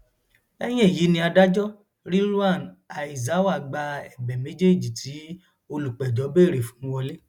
lẹyìn èyí ni adájọ rilwan aizawa gba ẹbẹ méjèèjì tí olùpẹjọ béèrè fún wọlé